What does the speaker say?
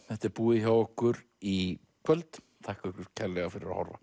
þetta er búið hjá okkur í kvöld þakka ykkur kærlega fyrir að horfa